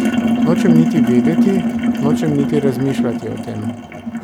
Nočem niti vedeti, nočem niti razmišljati o tem.